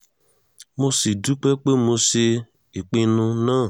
mo sì dúpẹ́ pé mo ṣe ìpinnu náà